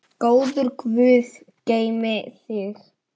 Góður guð geymi þig.